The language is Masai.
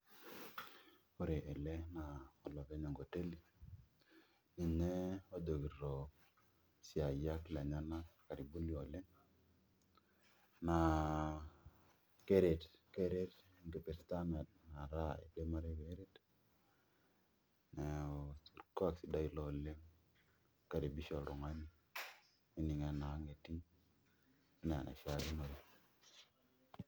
Ore tene naa olopeny enkoteli, ninye ojokito isiaiyiak lenyanak karibuni oleng, naa keret, keret enkipirta metaa kidim ataa keret, neeku orkuak sidai ilo oleng eninkaribisha oltung'ani, nening' enaa ang' etii, enaa enaishaakinore.